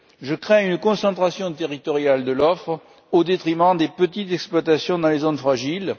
Je crains une concentration territoriale de l'offre au détriment des petites exploitations dans les zones fragiles.